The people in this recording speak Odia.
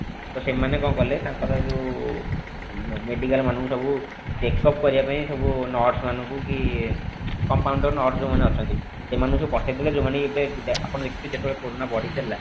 ତ ସେମାନେ କଣ କଲେ ତାଙ୍କର ଯେଉଁ medical ମାନଙ୍କୁ ସବୁ check up କରିବା ପାଇଁ ସବୁ nurse ମାନଙ୍କୁ କି compounder nurse ଯେଉଁ ମାନେ ଅଛନ୍ତି ସେମାନଙ୍କୁ ସବୁ ପଠେଇଦେଲେ ଯାଉମାନେ କି ଏବେ ଆପଣ ଦେଖିଥିବେ ଯେତେବେଳେ କୋରୋନା ବଢି ଚାଲିଲା